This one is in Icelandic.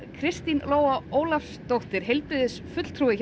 Kristín Lóa Ólafsdóttir heilbrigðisfulltrúi hjá